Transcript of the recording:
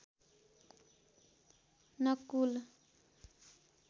Nakul